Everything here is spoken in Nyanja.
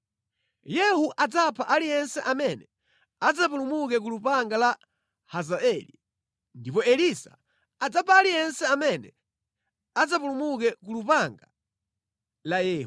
Yehu adzapha aliyense amene adzapulumuke ku lupanga la Hazaeli, ndipo Elisa adzapha aliyense amene adzapulumuke ku lupanga la Yehu.